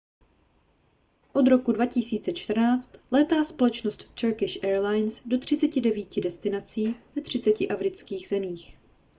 od roku 2014 létá společnost turkish airlines do 39 destinací ve 30 afrických zemích